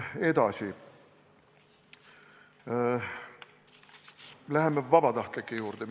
Edasi, läheme vabatahtlike teema juurde.